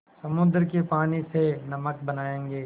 समुद्र के पानी से नमक बनायेंगे